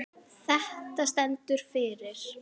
Þetta stendur fyrir